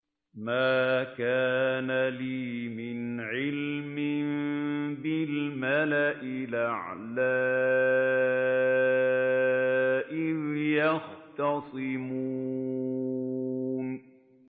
مَا كَانَ لِيَ مِنْ عِلْمٍ بِالْمَلَإِ الْأَعْلَىٰ إِذْ يَخْتَصِمُونَ